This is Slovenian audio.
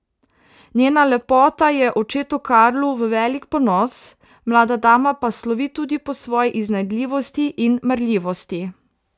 Njena lepota je očetu Karlu v velik ponos, mlada dama pa slovi tudi po svoji iznajdljivosti in marljivosti.